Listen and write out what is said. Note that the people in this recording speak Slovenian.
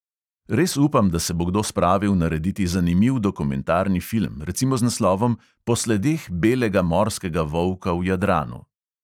Res upam, da se bo kdo spravil narediti zanimiv dokumentarni film, recimo z naslovom "po sledeh belega morskega volka v jadranu".